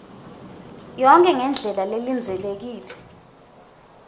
yonkhe ngendlela lelindzelekile